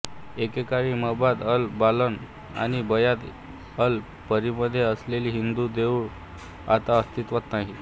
एकेकाळी मबाद अल बनान आणि बायत अल पीरमध्ये असलेली हिंदू देऊळ आता अस्तित्त्वात नाहीत